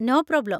No problem.